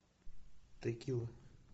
текила